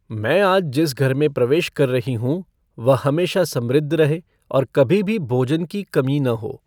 मैं आज जिस घर में प्रवेश कर रही हूँ, वह हमेशा समृद्ध रहे और कभी भी भोजन की कमी न हो।